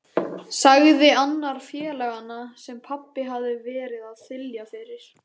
sagði annar félaganna sem pabbi hafði verið að þylja yfir.